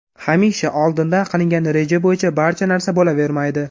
Hamisha, oldindan qilingan reja bo‘yicha barcha narsa bo‘lavermaydi.